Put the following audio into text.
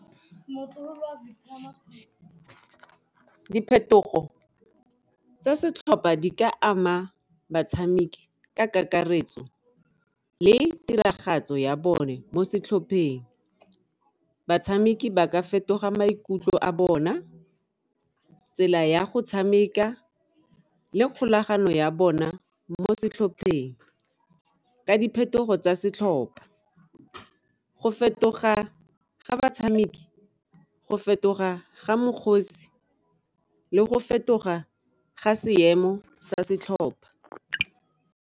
Diphetogo tsa setlhopha di ka ama batshameki ka kakaretso le tiragatso ya bone mo setlhopheng, batshameki ba ka fetoga maikutlo a bona, tsela ya go tshameka le kgolagano ya bona mo setlhopheng ka diphetogo tsa setlhopa go fetoga ga batshameki, go fetoga ga le go fetoga ga seemo sa setlhopha.